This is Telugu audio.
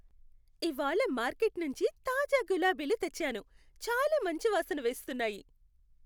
ఇవాళ్ళ మార్కెట్ నుంచి తాజా గులాబీలు తెచ్చాను. చాలా మంచి వాసన వేస్తున్నాయి.